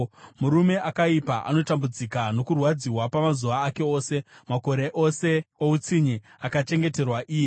Murume akaipa anotambudzika nokurwadziwa pamazuva ake ose, makore ose outsinye akachengeterwa iye.